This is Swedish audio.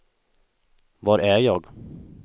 var är jag